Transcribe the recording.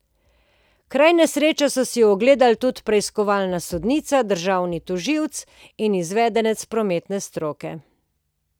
Kraj nesreče so si ogledali tudi preiskovalna sodnica, državni tožilec in izvedenec prometne stroke.